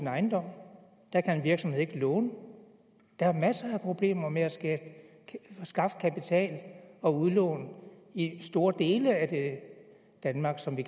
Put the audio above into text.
ejendom der kan en virksomhed ikke låne der er masser af problemer med at skaffe kapital og udlån i store dele af det danmark som vi